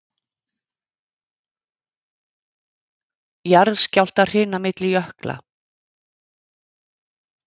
Jarðskjálftahrina milli jökla